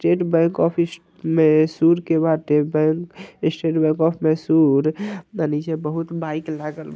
state Bank of Mysore के बाटे bank State Bank of Mysore नीचे बहुत बाइक लागल --